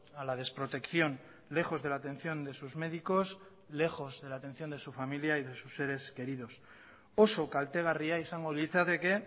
a la desprotección lejos de la atención de sus médicos lejos de la atención de su familia y de sus seres queridos oso kaltegarria izango litzateke